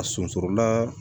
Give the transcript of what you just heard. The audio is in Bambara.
A sunsurula